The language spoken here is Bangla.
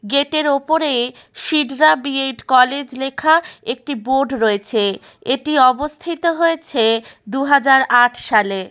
গেটের ওপরে সিদরা বি.এড কলেজ লেখা একটি বোর্ড রয়েছে । এটি অবস্থিত হয়েছে দু হাজার আট সালে।